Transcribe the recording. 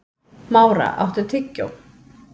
Mára, áttu tyggjó?